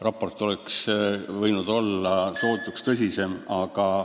Raport oleks võinud olla sootuks tõsisem.